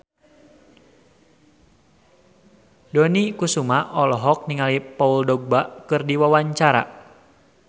Dony Kesuma olohok ningali Paul Dogba keur diwawancara